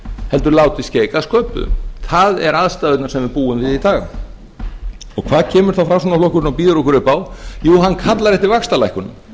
heldur látið skeika að sköpuðu það eru aðstæðurnar sem við búum við í dag og hvað kemur þá með framsóknarflokkurinn og býður okkur upp á jú hann kallar eftir vaxtalækkun